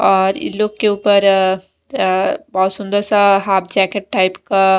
और इन लोग के ऊपर अह बहुत सुंदर सा हाफ जैकेट टाइप का--